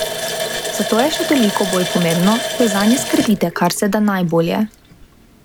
Zato je še toliko bolj pomembno, da zanje skrbite kar se da najbolje.